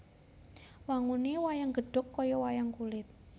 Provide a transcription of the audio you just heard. Wangune wayang gedhog kaya wayang kulit